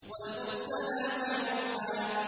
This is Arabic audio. وَالْمُرْسَلَاتِ عُرْفًا